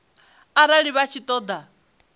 arali vha tshi ṱo ḓa